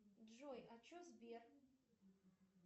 джой а че сбер